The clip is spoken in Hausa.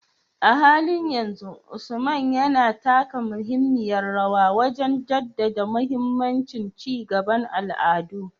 A halin yanzu, Usman yana taka muhimmiyar rawa wajen jaddada mahimmancin ci gaban al'adu